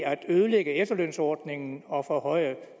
at ødelægge efterlønsordningen og forhøje